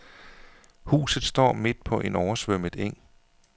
Huset står midt på en oversvømmet eng.